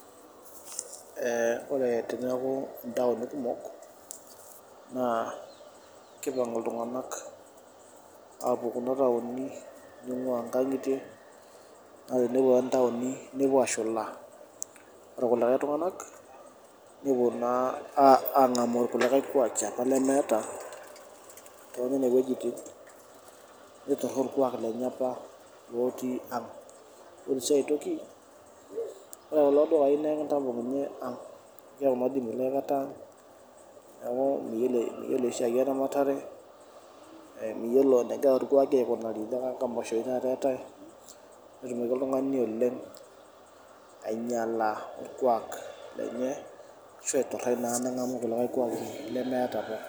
ore teneaku intaoni kumok naa keipang' iltung'anak apuo kuna taoni ning'waa inkang'itie naa tenepuo naa intaoni nepuo ashula oorkulikae tung'anak nepuo naa ang'amu irkulikae kuaaki apa lemeeta too nene wejitin nituraa orkuak lenye apa looti ang' ore sii aitoki ore kulo dukaii naa ekintapong' inye ang' keeku naa milo aikata ang' amu miyiolo esiai ee ramatare miyiolo enegira irkuaaki aikunari tena nkimasho oshii tata eetae netumoki oltung'ani oleng' ainyala orkuak lenye ashuu aituraa naa neng'amu kulikae kuuaki lemeeta apa.